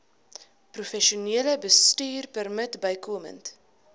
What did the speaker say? professionele bestuurpermit bykomend